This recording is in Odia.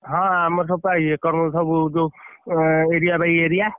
ହଁ ଆମର ସବୁ ଏକରୁ ସବୁ ଯୋଉ area by area ।